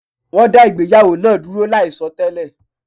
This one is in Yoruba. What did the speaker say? Wọ́n dá ìgbéyàwó náa dúró láì sọ télè